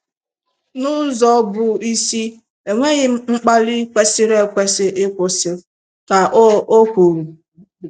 N'ụzọ bụ isi, enweghị m mkpali kwesịrị ekwesị ịkwụsị, " ka o o kwuru.